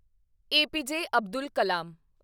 APJ. Abdul Kalam